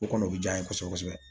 O kɔni o bɛ diya n ye kosɛbɛ kosɛbɛ